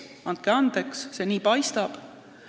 Andke andeks, nii see paistab.